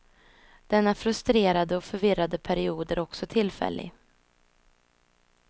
Denna frustrerade och förvirrade period är också tillfällig.